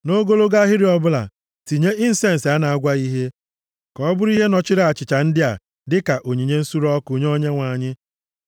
Nʼogologo ahịrị ọbụla tinye insensi a na-agwaghị ihe, ka ọ bụrụ ihe nọchiri achịcha ndị a dịka onyinye nsure ọkụ nye Onyenwe anyị.